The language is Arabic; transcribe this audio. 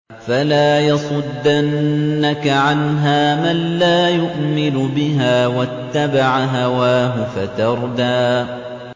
فَلَا يَصُدَّنَّكَ عَنْهَا مَن لَّا يُؤْمِنُ بِهَا وَاتَّبَعَ هَوَاهُ فَتَرْدَىٰ